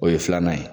O ye filanan ye